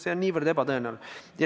See on niivõrd ebatõenäoline.